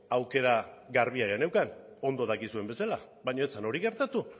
aukera garbia geneukan ondo dakizuen bezala baina hori ez zen hori gertatu